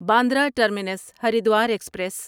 Bandra terminus Haridwar express